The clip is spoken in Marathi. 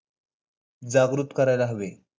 जागृत करायला हवे.